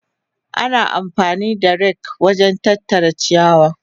Ana amfani da rake wajen tattara ciyawa.